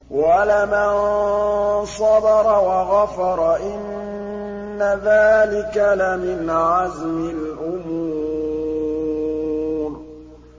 وَلَمَن صَبَرَ وَغَفَرَ إِنَّ ذَٰلِكَ لَمِنْ عَزْمِ الْأُمُورِ